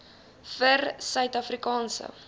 vir suid afrikaanse